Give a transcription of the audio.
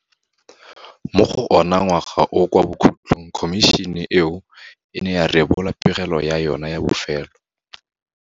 Mo go ona ngwaga oo kwa bokhutlhong khomišene eo e ne ya rebola pegelo ya yona ya bofelo.